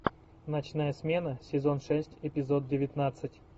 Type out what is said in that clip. ночная смена сезон шесть эпизод девятнадцать